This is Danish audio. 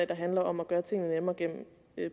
der handler om at gøre tingene nemmere gennem